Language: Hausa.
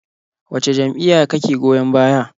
Wace jam'iyya kake goyon baya?